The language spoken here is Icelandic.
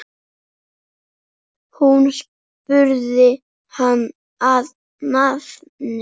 Hún spurði hann að nafni.